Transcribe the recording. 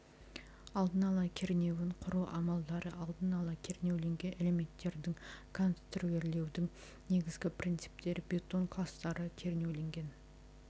алдын ала кернеуін құру амалдары алдын ала кернеуленген элементтердің конструирлеудің негізгі принциптері бетон кластары кернеуленген